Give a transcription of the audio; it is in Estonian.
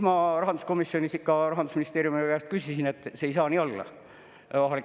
Ma rahanduskomisjonis Rahandusministeeriumi esindaja käest küsisin et see ei saa nii olla.